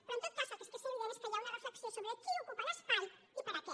però en tot cas el que sí que és evident és que hi ha una reflexió sobre qui ocupa l’espai i per a què